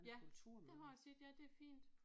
Ja det har jeg set ja det er fint